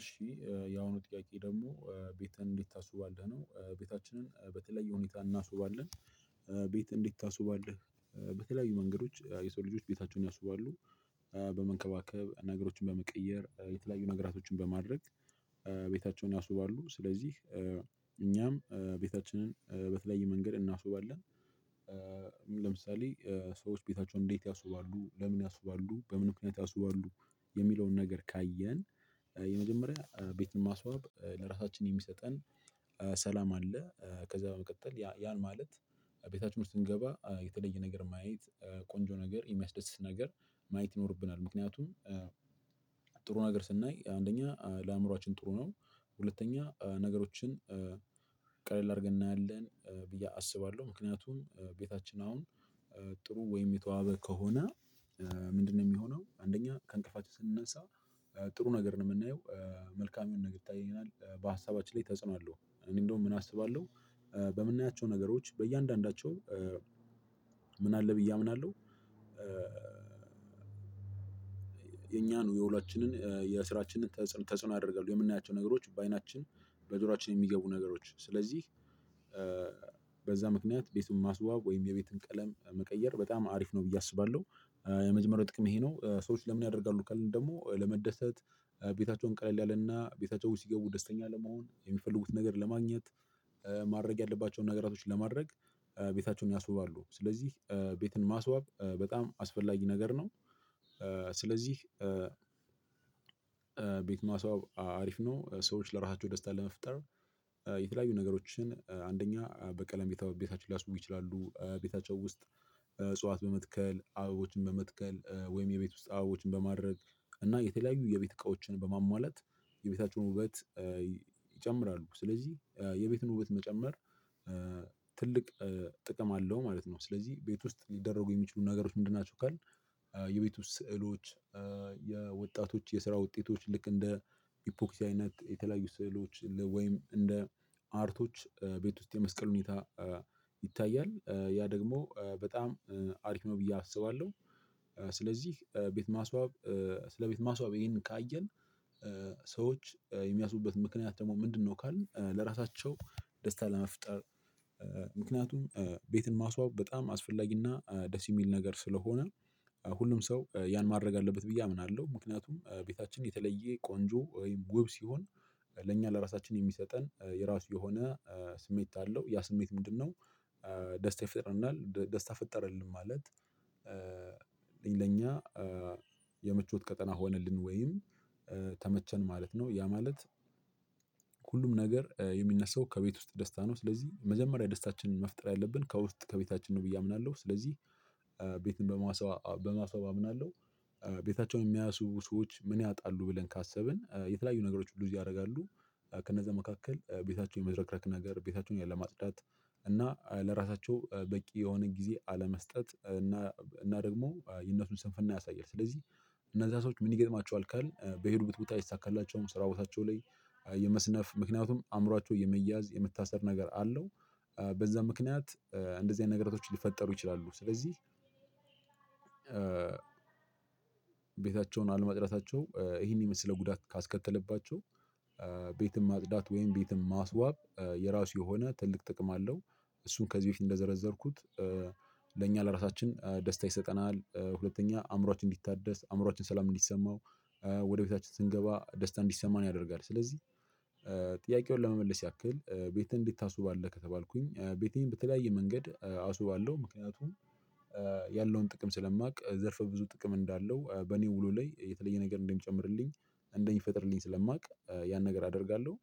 እሺ ያሁኑ ጥያቄ ደግሞ ቤትህን እንዴት? ታስውባለህ ነው ቤታችንን በተለየ ሁኔታ እናስውባለን። ቤት እንዴት? ታስውባለህ በተለያዩ መንገዶች የሰው ልጆች ቤታቸውን ያስውባሉ። ነገሮችን በመቀየር የተለያዩ ነገራቶችን በማድረግ። ቤታቸውን ያስውባሉ ስለዚህ እኛም ቤታችንን በተለየ መንገድ እናስውባለን። ለምሳሌ ሰዎች ቤታቸውን እንዴት ያስውባሉ ለምን ያስውባሉ በምን ምክንያት ያስውባሉ? የሚለውን ነገር ካየን። የመጀመሪያ ቤት ማስዋብ ለራሳችን የሚሰጠን ሰላም አለ። ከዛ በመቀጠል ያ ያን ማለት ቤታችን ውስጥ ስንገባ የተለየ ነገር ማየት ቆንጆ ነገር የሚያስደስት ነገር ማየት ይኖርብናል። ምክንያቱም ጥሩ ነገር ስናይ አንደኛ ለአእምሮአችን ጥሩ ነው። ሁለተኛ ነገሮችን ቀለል አድርገን እናያለን ብዬ አስባለሁ። ምክንያቱም ቤታችን አሁን ጥሩ ወይም የተዋበ ከሆነ። ምንድነው የሚሆነው አንደኛ ከእንቅልፋችን ስንነሳ። ጥሩ ነገር ነው የምናየው። መልካም የሆነ ነገር ይታየናል በሀሳባችን ላይ ተጽኖ አለሁ እኔ እንደውም ምን አስባለሁ። በምናያቸው ነገሮች በእያንዳንዳቸው ምን አለ ብዬ አምናለሁ። የኛን የውሏችንን የስራችንን ተጽዕኖ ያደርጋሉ የምናያቸው ነገሮች በአይናችን በጆሮአችን የሚገቡ ነገሮች ስለዚህ። በዛ ምክንያት ቤቱን ማስዋብ ወይም የቤቱን ቀለም መቀየር በጣም አሪፍ ነው ብዬ አስባለሁ። የመጀመሪያው ጥቅም ይሄ ነው ሰዎች ምን ያደርጋሉ ካልን? ደግሞ ለመደሰት ቤታቸውን ቀለል ያለና ቤታቸው ሲገቡ ደስተኛ ለመሆን የሚፈልጉትን ነገር ለማግኘት ማድረግ ያለባቸውን ነገራቶች ለማድረግ ቤታቸውን ያስውባሉ ስለዚህ ቤትን ማስዋብ በጣም አስፈላጊ ነገር ነው። ስለዚህ። ቤት ማስዋብ አሪፍ ነው። ሰዎች ለራሳቸው ደስታ ለመፍጠር የተለያዩ ነገሮችን አንደኛ በቀለም ቤታቸው ሊያስውቡ ይችላሉ ቤታቸው ውስጥ። እጽዋት በመትከል አበቦችን በመትከል ወይም የቤት ውስጥ አበቦችን በማድረግ እና የተለያዩ የቤት እቃዎችን በማሟላት የቤታቸውን ውበት። ይጨምራሉ ስለዚህ የቤቱን ውበት መጨመር ትልቅ ጥቅም አለው። ማለት ነው። ስለዚህ ቤት ውስጥ ሊደረጉ የሚችሉ ነገሮች ምንድን ናቸው? ካልን። የቤት ውስጥ ስዕሎች የወጣቶች የስራ ውጤቶች ልክ እንደ ኢፖክሲ አይነት የተለያዩ ስዕሎች ወይም እንደ አርቶች ቤት ውስጥ የመስቀል ሁኔታ። ይታያል ያ ደግሞ በጣም አርኪሞ ብዬ አስባለሁ። ስለዚህ ቤት ማስዋብ ስለ ቤት ማስዋብ ይሄንን ካየን። ሰዎች የሚያስቡበት ምክንያት ደግሞ ምንድነው? ካልን ለራሳቸው ደስታ ለመፍጠር ምክንያቱም ቤትን ማስዋብ በጣም አስፈላጊና ደስ የሚል ነገር ስለሆነ። ሁሉም ሰው ያን ማድረግ አለበት ብዬ አምናለሁ። ምክንያቱም ቤታችን የተለየ ቆንጆ ወይም ውብ ሲሆን ለእኛ ለራሳችን የሚሰጠን የራሱ የሆነ ስሜት አለው። ያ ስሜት ምንድነው? ደስታ ይፈጥረልናል ደስታ ፈጠረልን ማለት። ለኛ የምቾት ቀጠና ሆነልን ወይም ተመቸን ማለት ነው። ያ ማለት። ሁሉም ነገር የሚነሳው ከቤት ውስጥ ደስታ ነው ስለዚህ መጀመሪያ ደስታችንን መፍጠር ያለብን ከውስጥ ከቤታችን ነው ብዬ አምናለሁ። ስለዚህ ቤትን በማስዋብ በማስዋብ አምናለሁ። ቤታቸውን የሚያስውቡ ሰዎች ምን ያጣሉ ብለን ካሰብን የተለያዩ ነገሮች ሉዝ ያደርጋሉ። ከነዛ መካከል ቤታቸውን የመዘረክረክ ነገር ቤታቸውን ያለማጽዳት እና ለራሳቸው በቂ የሆነን ጊዜ አለመስጠት እና እና ደግሞ የነሱን ስንፍና ያሳያል። ስለዚህ እነዛ ሰዎች ምን ይገጥማቸዋል ካልን በሄዱበት ቦታ አይሳካላቸውም ስራ ቦታቸው ላይ የመስነፍ ምክንያቱም አእምሮአቸው የመያዝ የመታሰር ነገር አለው በዛ ምክንያት እንደዚህ አይነት ነገራቶች ሊፈጠሩ ይችላሉ። ስለዚህ። ቤታቸውን አለማጽዳታቸው ይህን የመሰለ ጉዳት ካስከተለባቸው። ቤትም ማጽዳት ወይም ቤትም ማስዋብ የራሱ የሆነ ትልቅ ጥቅም አለው። እሱ ከዚህ በፊት እንደዘረዘርኩት ለእኛ ለራሳችን ደስታ ይሰጠናል። ሁለተኛ አእምሮአችን እንዲታደስ አእምሮአችን ሰላም እንዲሰማው ወደ ቤታችን ስንገባ ደስታ እንዲሰማን ያደርጋል። ስለዚህ ጥያቄውን ለመመለስ ያክል ቤትህን እንዴት አስባለህ ከተባልኩኝ ቤቴን በተለያየ መንገድ አስውባለው ምክንያቱም። ያለውን ጥቅም ስለማውቅ ዘርፈ ብዙ ጥቅም እንዳለው በኔ ውሎ ላይ የተለየ ነገር እንደ ሚጨምርልኝ እንደ ሚፈጥርልኝ ስለማውቅ ያን ነገር አደርጋለሁ።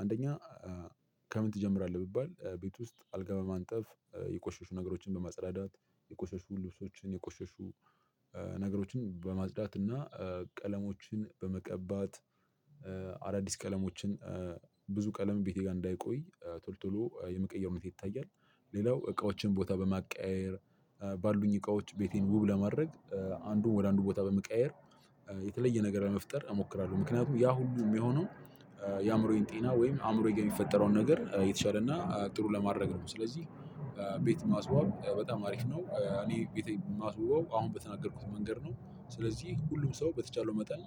አንደኛ ከምን ትጀምራለህ ብባል ቤት ውስጥ አልጋ በማንጠፍ የቆሸሹ ነገሮችን በማጸዳዳት። የቆሸሹ ልብሶችን የቆሸሹ ነገሮችን በማጽዳት እና ቀለሞችን በመቀባት አዳዲስ ቀለሞችን ብዙ ቀለም ቤቴ ጋር እንዳይቆይ ቶሎቶሎ የመቀየር ሁኔታ ይታያል። ሌላው እቃዎችን ቦታ በማቀያየር ባሉኝ እቃዎች ቤቴን ውብ ለማድረግ አንዱን ወደ አንዱ ቦታ በመቀየር። የተለየ ነገር ለመፍጠር እሞክራለሁ። ምክንያቱም ያ ሁሉ የሚሆነው የአእምሮዬን ጤና ወይም አእምሮዬ ጋር የሚፈጠረውን ነገር የተሻለ እና ጥሩ ለማድረግ ነው ስለዚህ። ቤት ማስወው በጣም አሪፍ ነው። እኔ ቤቴን ማስውበው አሁን በተናገርኩት መንገድ ነው። ስለዚህ ሁሉም ሰው በተቻለው መጠን